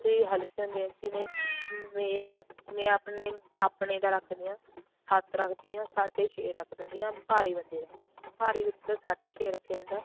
ਹਲਕੇ ਹੁੰਦੇ ਜਿਵੇਂ ਮੈਂ ਹੈ ਮੈਂ ਆਪਣੇ ਦਾ ਰੱਖ ਦੀ ਆ ਸੱਤ ਰੱਖਦੀ ਆਂ ਸਾਢ਼ੇ ਛੇ ਰੱਖ ਦਿੰਦੀ ਆ ਭਾਰੀ ਬੰਦੇ ਦਾ ਭਾਰੀ ਬੰਦੇ ਦਾ ਸਾਢ਼ੇ ਛੇ ਰੱਖਿਆ ਜਾਂਦਾ